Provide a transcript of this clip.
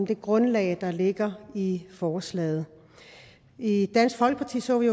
det grundlag der ligger i forslaget i dansk folkeparti så vi